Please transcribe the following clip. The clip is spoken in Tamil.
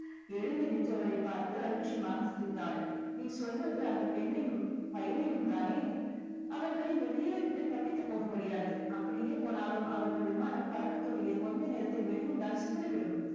எழுந்து நின்றவரைப் பார்த்து அலட்சியமாக சிரித்தாள் நீ சொல்வது அந்தப் பெண்ணையும் பையனையும் தானே அவர்கள் இந்தத் தீவை விட்டு தப்பித்துப் போக முடியாது அப்படியே போனாலும் அவர்கள் விமானம் பறக்கத் தொடங்கிய கொஞ்ச நேரத்தில் வெடிகுண்டால் சிதறிவிடும்